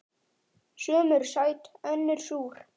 Sum eru sæt önnur súr.